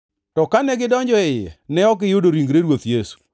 to kane gidonjo e iye, ne ok giyudo ringre Ruoth Yesu.